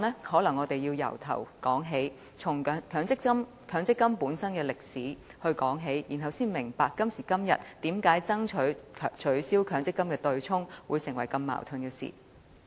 可能我要從頭由強積金的歷史說起，然後大家才明白為何今天爭取取消強積金對沖機制會產生矛盾。